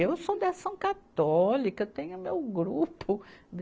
Eu sou da ação católica, tenho meu grupo.